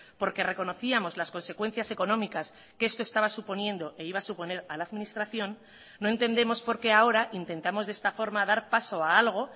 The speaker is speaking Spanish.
porque reconocíamos las consecuencias económicas que esto estaba suponiendo e iba a suponer a la administración no entendemos por qué ahora intentamos de esta forma dar paso a algo